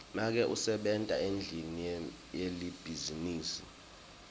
make usebenta endlini yelibhizinisi